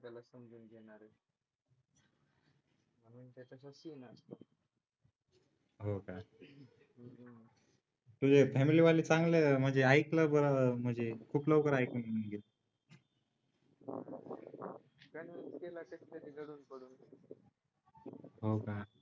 हो का तुझे फॅमिली वाले चांगले म्हणजे ऐकलं बरं म्हणजे